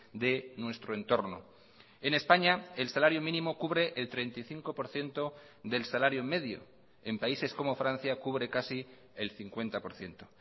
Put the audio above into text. de nuestro entorno en españa el salario mínimo cubre el treinta y cinco por ciento del salario medio en países como francia cubre casi el cincuenta por ciento